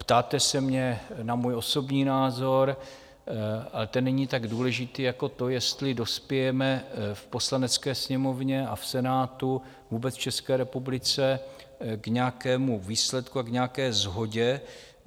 Ptáte se mě na můj osobní názor, ale ten není tak důležitý jako to, jestli dospějeme v Poslanecké sněmovně a v Senátu, vůbec v České republice k nějakému výsledku a k nějaké shodě.